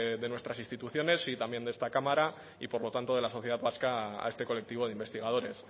de nuestras instituciones y también de esta cámara y por lo tanto de la sociedad vasca a este colectivo de investigadores